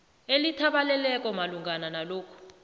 elithabaleleko malungana nalokhu